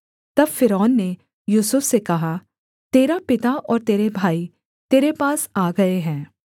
तब फ़िरौन ने यूसुफ से कहा तेरा पिता और तेरे भाई तेरे पास आ गए हैं